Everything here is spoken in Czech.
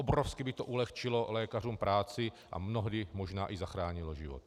Obrovsky by to ulehčilo lékařům práci a mnohdy možná i zachránilo život.